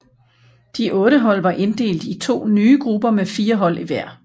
De otte hold var inddelt i to nye grupper med fire hold i hver